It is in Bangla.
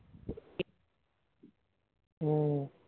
উহ